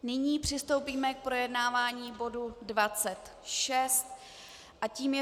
Nyní přistoupíme k projednávání bodu 26 a tím je